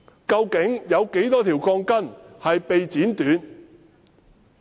究竟有多少鋼筋被剪短？